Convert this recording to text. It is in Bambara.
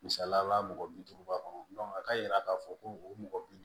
Misaliyala mɔgɔ bi duuruba kɔnɔ a ka yira k'a fɔ ko mɔgɔ bi